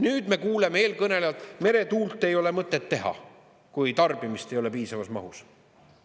Nüüd me kuuleme eelkõnelejalt, et meretuult ei ole mõtet teha, kui tarbimist ei ole piisavas mahus.